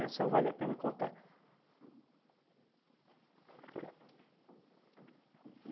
vale a pena contar.